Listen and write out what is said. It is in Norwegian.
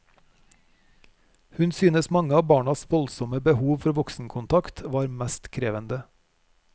Hun synes mange av barnas voldsomme behov for voksenkontakt var mest krevende.